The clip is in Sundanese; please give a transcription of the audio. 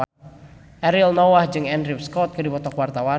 Ariel Noah jeung Andrew Scott keur dipoto ku wartawan